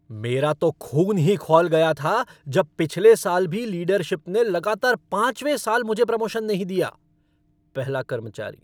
मेरा तो खून ही खौल गया था जब पिछले साल भी लीडरशिप ने लगातार पांचवें साल मुझे प्रमोशन नहीं दिया। पहला कर्मचारी